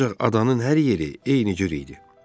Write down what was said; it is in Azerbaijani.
Ancaq adanın hər yeri eyni cür idi.